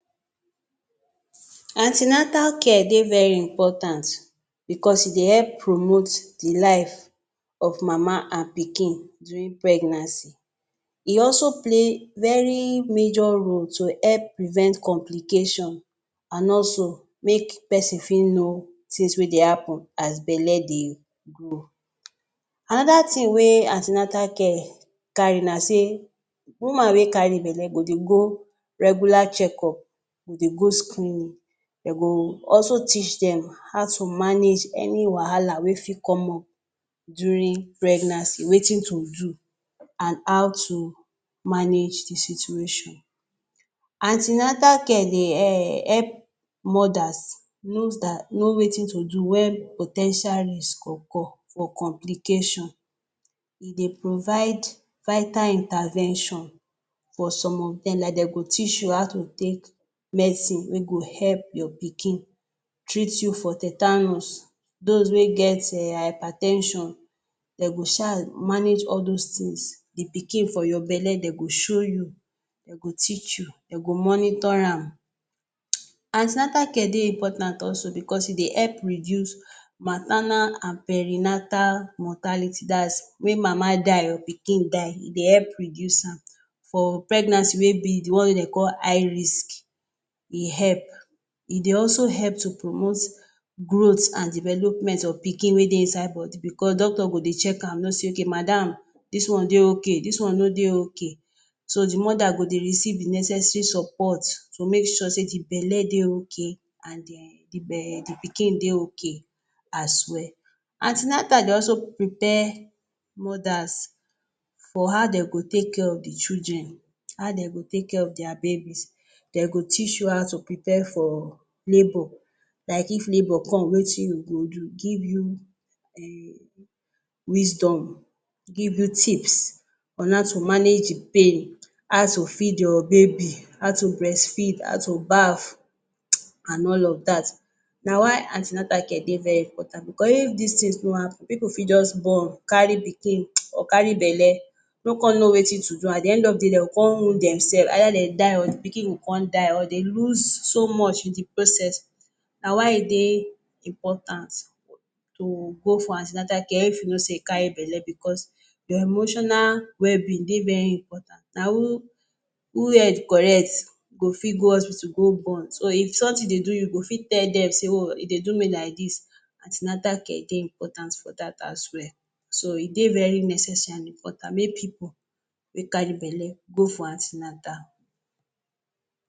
Ante-natal care dey very important because e dey help promote the life of mama and pikin during pregnancy. E also play very major role to help prevent complication and also make pesin fi know things wey dey happen as belle dey grow. Another things wey ante-natal care carry na say, woman wey carry belle go dey go regular check-up, go dey go screening, they go also teach them how to manage any wahala wey fi come up during pregnancy wetin to do and how to manage the situation. Ante-natal care dey help mothers know wetin to do when po ten tial risk occur for complication. E dey provide vital intervention for some of them, like den go teach you how to take medicine wey go help your pikin, treat you for tetanus. Those wey get hyper ten sion, den go sha manage all those things, the pikin for your belle den go show you, they go teach you, they go monitor am. Ante-natal care dey important also because e dey help reduce maternal and perinatal mortality, that’s when mama die or pikin die, e dey help reduce am for pregnancy wey be the one wey dey call high risk e help. E dey also help to promote growth and development of pikin wey dey inside body because doctor go dey check am know sey madam! this one dey okay, this one no dey okay, so the mother go dey receive the necessary support to make sure the belle dey okay and then the pikin dey okay as well. Ante-natal dey also prepare mothers for how they go take care of the children, how they go take care of their babies. They go teach you how to prepare for labor, like if labor come Wetin you go do, give you wisdom, give you tips on how to manage the pain, how to feed your baby, how to breastfeed, how to baf and all of that, na why ante-natal care dey very important because if these things no hard, pipu fi just born, carry pikin or carry belle no con know wetin to do, at the end of the day they go con wound themselve, either den die or the pikin go con die or they lose so much in the process, na why e dey important to go for ante-natal care if you know sey you carry belle because your emotional wellbeing dey very important. Na who head correct go fi go hospital to go born, so if something dey do you, you go fit tell them say e dey do me like this, ante-natal care dey important for that as well, so e dey very necessary and important make pipu wey carry belle go for ante-natal.